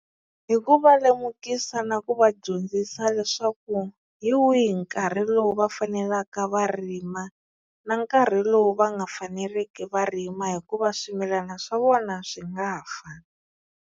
Hi ku va lemukisa na ku va dyondzisa leswaku hi wihi nkarhi lowu va fanelaka va rima, na nkarhi lowu va nga faneleriki va rima hikuva swimilana swa vona swi nga fa.